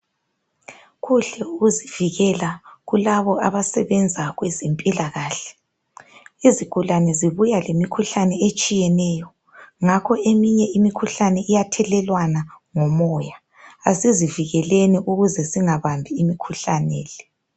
Kuhle ukuzivikela kulabo abasebenza kwezempilakahle. Izigulane zibuya lemikhuhlane etshiyeneyo. Ngakho eminye imikhuhlane iyathelelwana ngomoya. Asizivikeleni ukuze singabambi imikhuhlane le.